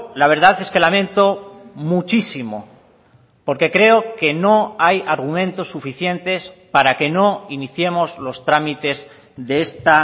la verdad es que lamento muchísimo porque creo que no hay argumentos suficientes para que no iniciemos los trámites de esta